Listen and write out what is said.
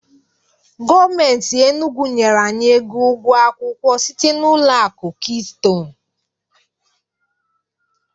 Gọọmenti Enugwu nyere anyị ego ụgwọ akwụkwọ site n'ụlọ akụ Keystone